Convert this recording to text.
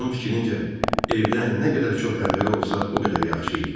Onun fikrincə evdə nə qədər çox pəncərə olsa, o qədər yaxşı idi.